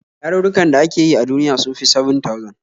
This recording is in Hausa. Yarurrukan da ake yi a duniya sun fi 7,000